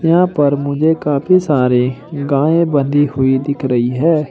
यहां पर मुझे काफी सारे गाय बंधी हुई दिख रही है।